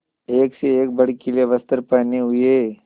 एक से एक भड़कीले वस्त्र पहने हुए